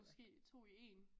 Måske 2 i 1